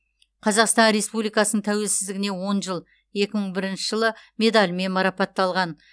қазақстан республикасының тәуелсіздігіне он жыл екі мың бірінші жылы медалімен марапатталған